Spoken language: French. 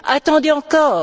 Attendez encore.